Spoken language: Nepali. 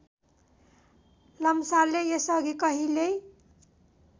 लम्सालले यसअघि कहिल्यै